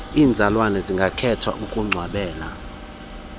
iizalwane zingakhetha ukungcwabela